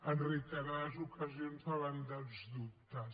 en reiterades ocasions davant dels dubtes